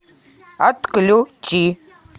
отключи